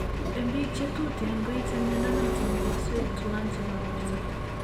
En Biik che tuten koite mnyondo noton komoswek tuwan chebo borto